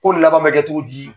Ko laban bɛ kɛ codi di?